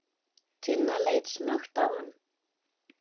Tinna leit snöggt á hann.